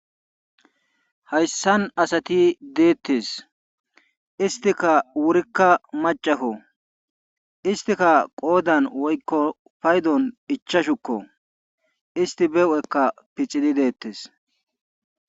Hayssan asati deettes istika wurikka macafo istika qoodan woykko paydon ichashukko isti bewu'ekka pixidi deettes.